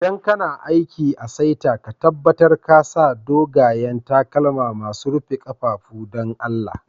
ldan kana aiki a'saita, ka tabatar ka sa dogayen takalma masun rufe kafafu, dan Allah.